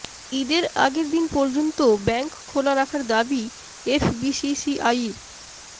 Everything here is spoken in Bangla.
ঈদের আগের দিন পর্যন্ত ব্যাংক খোলা রাখার দাবি এফবিসিসিআইর